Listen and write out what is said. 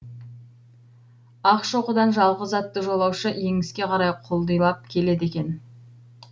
ақшоқыдан жалғыз атты жолаушы еңіске қарай құлдилап келеді екен